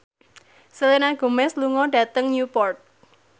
Selena Gomez lunga dhateng Newport